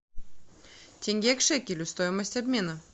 тенге к шекелю стоимость обмена